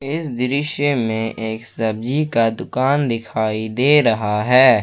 इस दृश्य में एक सब्जी का दुकान दिखाई दे रहा है।